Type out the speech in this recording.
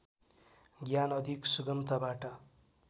ज्ञान अधिक सुगमताबाट